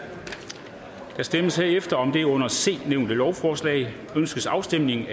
der stemmes herefter om det under c nævnte lovforslag ønskes afstemning